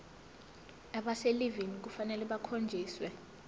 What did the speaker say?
abaselivini kufanele bakhonjiswe